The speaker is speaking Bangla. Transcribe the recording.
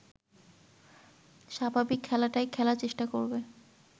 স্বাভাবিক খেলাটাই খেলার চেষ্টা করবে